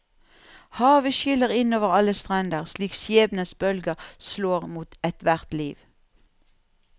Havet skyller inn over alle strender slik skjebnens bølger slår mot ethvert liv.